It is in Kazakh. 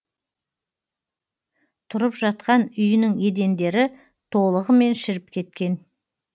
тұрып жатқан үйінің едендері толығымен шіріп кеткен